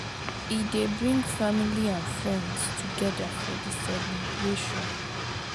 E dey bring family and friends togeda for di celibration.